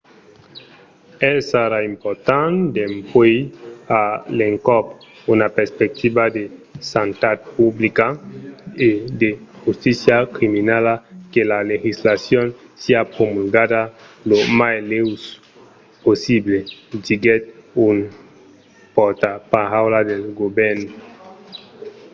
"es ara important dempuèi a l’encòp una perspectiva de santat publica e de justícia criminala que la legislacion siá promulgada lo mai lèu possible diguèt un pòrtaparaula del govèrn